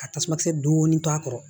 Ka tasuma kisɛ dɔɔnin to a kɔrɔ